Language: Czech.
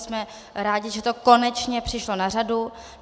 Jsme rádi, že to konečně přišlo na řadu.